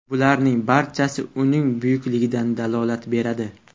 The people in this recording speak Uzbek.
Bularning barchasi uning buyukligidan dalolat beradi.